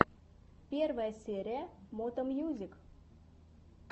первая серия мото мьюзик